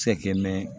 Se kɛ mɛ